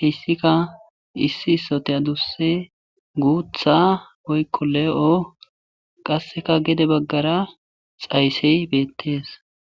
heyssika issi sote adusse guutha woykko le7o qasseka gede baggara xayssey beettees